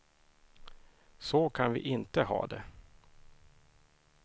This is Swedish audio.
Så kan vi inte ha det.